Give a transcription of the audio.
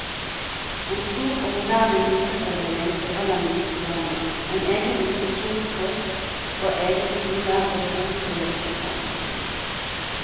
En stor og moderne nyfødtavdeling for de aller minste barna, en egen infeksjonspost, og egen skole og rom for leketerapi.